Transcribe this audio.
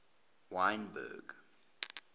wynberg